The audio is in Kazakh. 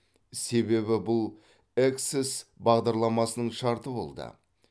себебі бұл эксес бағдарламасының шарты болды